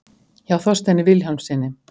hjá þorsteini vilhjálmssyni